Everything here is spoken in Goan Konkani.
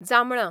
जामळां